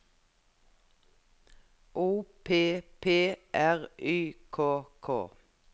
O P P R Y K K